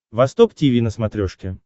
восток тиви на смотрешке